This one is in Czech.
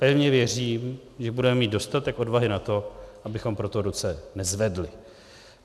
Pevně věřím, že budeme mít dostatek odvahy na to, abychom pro to ruce nezvedli.